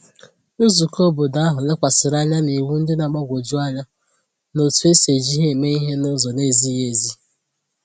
Nzùkọ̀ óbọ̀dò ahu lekwàsịrị anya n’iwu ndị na-agbagwoju anya na etu e si eji ha eme ihe n’ụzọ na-ezighị ezi